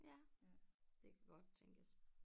Ja det kan godt tænkes